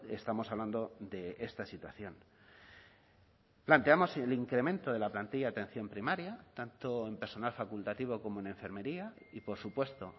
estamos hablando de esta situación planteamos el incremento de la plantilla de atención primaria tanto en personal facultativo como en enfermería y por supuesto